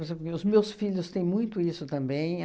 por exemplo, meus meus filhos têm muito isso também.